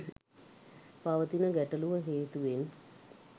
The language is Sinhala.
පවතින ගැටලුව හේතුවෙන්